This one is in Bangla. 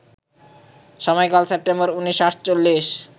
সময়কাল সেপ্টেম্বর ১৯৪৮